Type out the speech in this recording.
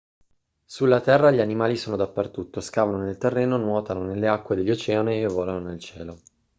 sulla terra gli animali sono dappertutto scavano nel terreno nuotano nelle acque degli oceani e volano nel cielo